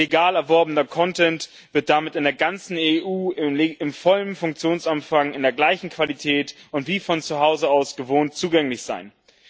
Legal erworbener wird damit in der ganzen EU im vollen Funktionsumfang in der gleichen Qualität und wie von zu Hause aus gewohnt zugänglich sein.